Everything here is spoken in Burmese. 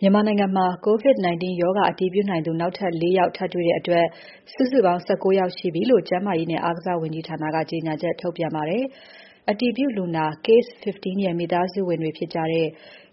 မြန်မာနိုင်ငံမှာ COVID-19 ရောဂါအတည်ပြုနိုင်သူ နောက်ထပ် ၄ ယောက် ထပ်တွေ့တဲ့အတွက် စုစုပေါင်း ၁၉ ယောက်ရှိပြီလို့ ကျန်းမာရေးနဲ့ အားကစားဝန်ကြီးဌာနက ပြောပါတယ်။ အတည်ပြုလူနာ Case - 15 ရဲ့ မိသားစုဝင်တွေဖြစ်ကြတဲ့